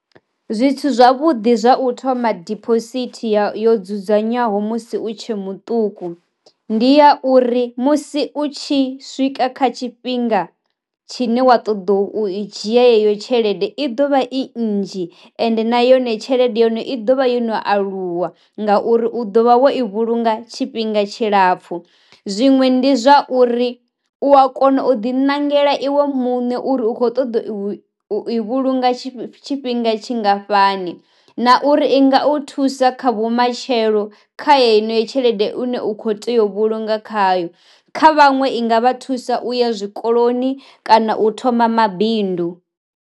Zwithu zwavhuḓi zwa u thoma diphosithi ya yo dzudzanywaho musi u tshe muṱuku, ndi ya uri musi u tshi swika kha tshifhinga tshine wa toda u i dzhia heyo tshelede i ḓovha i nnzhi ende na yone tshelede ya hone i ḓovha yo no aluwa ngauri u ḓo vha wo i vhulunga tshifhinga tshilapfhu, zwiṅwe ndi zwa uri u a kona u ḓi ṋangela iwe muṋe uri u kho ṱoḓa u vhulunga tshifhinga tshingafhani, na uri i nga u thusa kha vhumatshelo kha heneyo tshelede une u kho tea u vhulunga khayo kha vhaṅwe i nga vha thusa u ya zwikoloni kana u thoma mabindu.